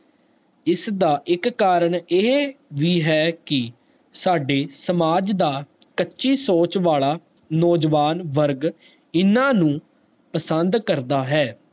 ਇਸ ਦਾ ਇਕ ਕਰਨ ਇਹ ਵੀ ਹੈ ਕਿ ਸਾਡੇ ਸਮਾਜ ਕੱਚੀ ਸੋਚ ਵਾਲਾ ਨੋ ਜਵਾਨ ਵਰਗ ਇੰਨਾ ਨੂੰ ਪਸੰਦ ਕਰਦਾ ਹੈ